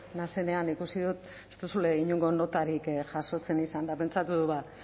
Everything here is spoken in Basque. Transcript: naizenean ikusi dut ez duzuela inongo notarik jasotzen izan eta pentsatu dut